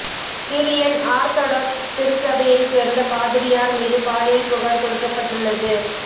Syrian Orthodox திருச்சபையைச் சேர்ந்த பாதிரியார் மீது பாலியல் புகார் கொடுக்கப்பட்டுள்ளது